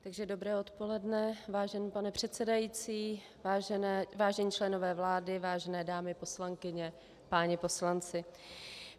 Dobré odpoledne, vážený pane předsedající, vážení členové vlády, vážené dámy poslankyně, páni poslanci.